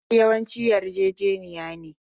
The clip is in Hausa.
Haɗin kai yawanci yarjejeniya ne.